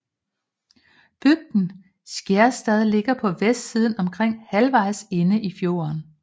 Bygden Skjærstad ligger på vestsiden omkring halvvejs inde i fjorden